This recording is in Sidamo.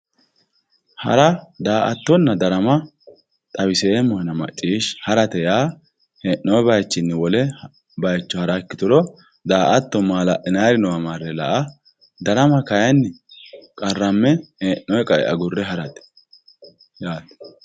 hara daa''attonna darama xawiseemmohena macciishshi harate yaa hee'noonni bayiichinni wole bayiicho hara ikkituro daa''ata maala'linannirichi noowa marre la'a ikkituro darama kayiinni qarramme heennoonni bayiicho agurre harate yaate.